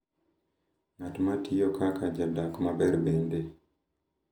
Ng’at ma tiyo kaka jadak maber bende.